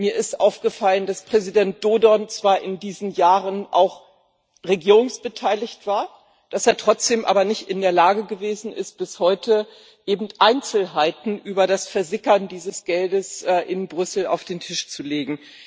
Mir ist aufgefallen, dass Präsident Dodon zwar in diesen Jahren auch an der Regierung beteiligt war, dass er trotzdem bis heute aber nicht in der Lage gewesen ist, Einzelheiten über das Versickern dieses Geldes in Brüssel auf den Tisch zu legen.